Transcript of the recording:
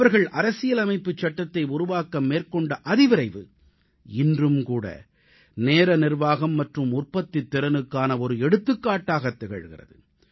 அவர்கள் அரசியலமைப்புச் சட்டத்தை உருவாக்க மேற்கொண்ட அதிவிரைவு இன்றும் கூட நேர நிர்வாகம் மற்றும் உற்பத்தித் திறனுக்கான ஒரு எடுத்துக்காட்டாகத் திகழ்கிறது